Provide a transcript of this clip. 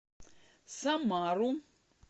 самару